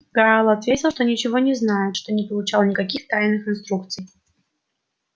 гаал ответил что ничего не знает что не получал никаких тайных инструкций